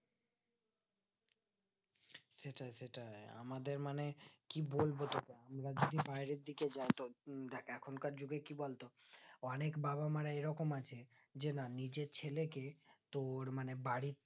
সেটাই সেটাই আমাদের মানে কি বলবো তোকে আমরা যদি বাইরের দিকে যাই তো দেখ এখন কার যুগে কি বলতো অনিক বাবা মা রা এই রকম আছে যে না নিজের ছেলেকে তোর মানে বাড়ির